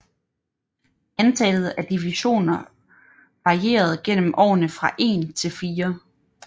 Antallet af divisioner varierede gennem årene fra en til fire